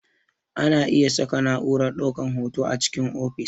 Ana iya saka na'urar ɗaukar hoto a cikin ofis